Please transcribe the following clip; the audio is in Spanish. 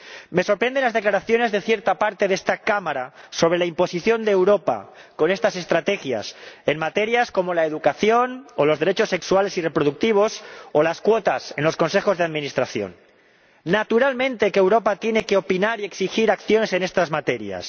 Me sorprenden las declaraciones de cierta parte de esta Cámara sobre la imposición de Europa con estas estrategias en materias como la educación o los derechos sexuales y reproductivos, o las cuotas en los consejos de administración ¡Naturalmente que Europa tiene que opinar y exigir acciones en estas materias!